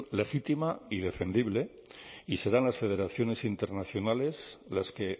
legítima y defendible y serán las federaciones internacionales las que